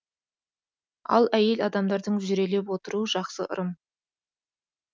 ал әйел адамдардың жүрелеп отыруы жақсы ырым